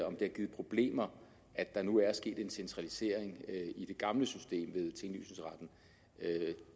om det har givet problemer at der nu er sket en centralisering i det gamle system